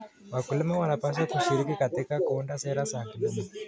Wakulima wanapaswa kushiriki katika kuunda sera za kilimo.